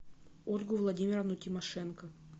ольгу владимировну тимошенко